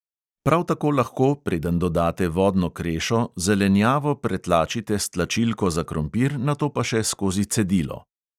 Prav tako lahko, preden dodate vodno krešo, zelenjavo pretlačite s tlačilko za krompir, nato pa še skozi cedilo.